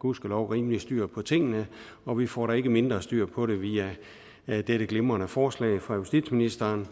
gudskelov rimelig styr på tingene og vi får da ikke mindre styr på det via dette glimrende forslag fra justitsministeren